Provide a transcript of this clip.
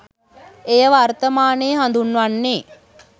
එය වර්තමානයේ හඳුන්වන්නේ